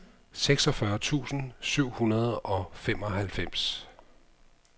seksogfyrre tusind syv hundrede og femoghalvfems